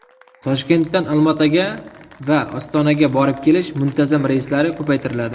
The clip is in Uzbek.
Toshkentdan Olmaota va Ostonaga borib-kelish muntazam reyslari ko‘paytiriladi.